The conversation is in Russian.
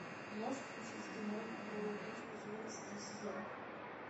можешь включить кино орел и решка четырнадцатый сезон